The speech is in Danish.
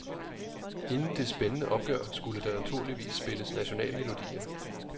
Inden det spændende opgør skulle der naturligvis spilles nationalmelodier.